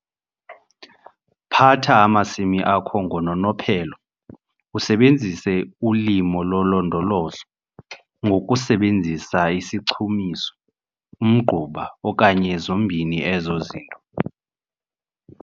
Phatha amasimi akho ngononophelo, usebenzise ulimo lolondolozo, ngokusebenzisa isichumiso, umgquba okanye zombini ezo zinto.